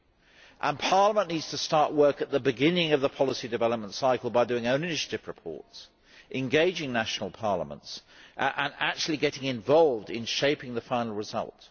And Parliament needs to start work at the beginning of the policy development cycle by doing own initiative reports, engaging national parliaments and actually getting involved in shaping the final result.